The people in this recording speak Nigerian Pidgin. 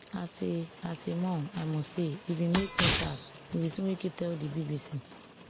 as a as a mum i must say e bin make me sad ms nweke tell di bbc